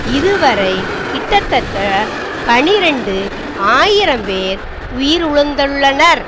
இதுவரை கிட்டத்தட்ட பனிரண்டு ஆயிரம் பேர் உயிறுலந்துள்ளனர்